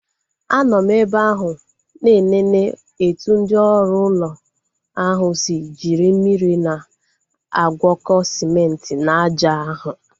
Anọ m ebe ahụ na enene etu ndị oru ụlọ ahu si jiri mmiri na-agwọko sịmenti na aja ahụ